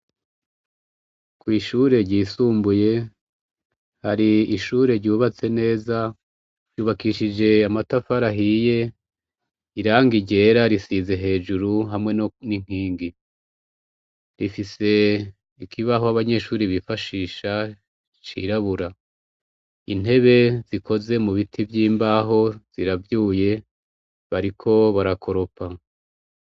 Kwishure ryisumbuye, hari ishure ryubatse neza ryubakishijwe amatafari ahiye irangi ryera rizize hejuru hamwe ninkingi, rifise ikibaho abanyeshure bifashisha cirabura intebe zikozwe mubiti vyimbaho ziravyuye bariko barakoropa.